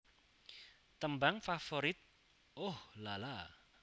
Tembang Favorit Ooh La La